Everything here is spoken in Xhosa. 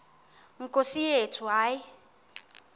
nkosi yethu hayi